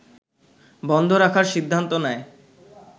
বন্ধ রাখার সিদ্ধান্ত নেয়